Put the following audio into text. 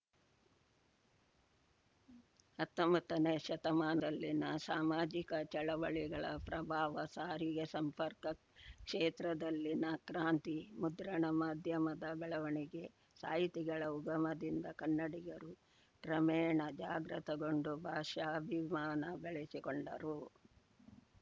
ಹತ್ತೊಂಬತ್ತನೇ ಶತಮಾನದಲ್ಲಿನ ಸಾಮಾಜಿಕ ಚಳವಳಿಗಳ ಪ್ರಭಾವ ಸಾರಿಗೆ ಸಂಪರ್ಕ ಕ್ಷೇತ್ರದಲ್ಲಿನ ಕ್ರಾಂತಿ ಮುದ್ರಣ ಮಾಧ್ಯಮದ ಬೆಳವಣಿಗೆ ಸಾಹಿತಿಗಳ ಉಗಮದಿಂದ ಕನ್ನಡಿಗರು ಕ್ರಮೇಣ ಜಾಗೃತಗೊಂಡು ಭಾಷಾಭಿಮಾನ ಬೆಳೆಸಿಕೊಂಡರು